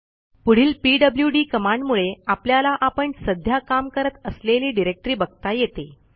पुढील पीडब्ल्यूडी कमांडमुळे आपल्याला आपण सध्या काम करत असलेली डिरेक्टरी बघता येते